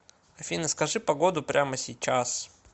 афина скажи погоду прямо сейчас